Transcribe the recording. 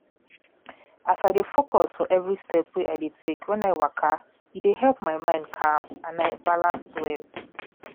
as i de aware of everything wen de happen for my body e don show me how to look my feelings even when dem strong